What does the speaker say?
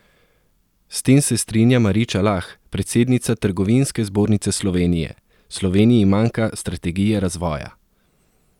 S tem se strinja Mariča Lah, predsednica Trgovinske zbornice Slovenije: "Sloveniji manjka strategija razvoja.